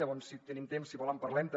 llavors si tenim temps si vol en parlem també